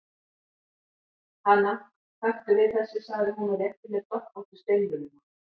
Hana, taktu við þessu, sagði hún og rétti mér doppóttu steinvöluna.